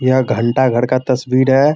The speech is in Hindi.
यह घंटा घर का तस्वीर है।